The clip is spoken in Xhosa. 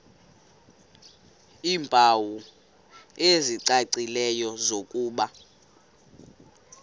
iimpawu ezicacileyo zokuba